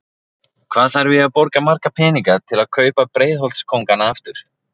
Hvað þarf ég að borga marga peninga til að kaupa Breiðholts kóngana aftur?